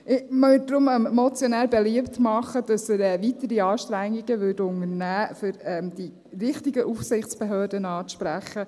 Ich würde deshalb dem Motionär beliebt machen, dass er weitere Anstrengungen unternimmt, um die richtigen Aufsichtsbehörden anzusprechen.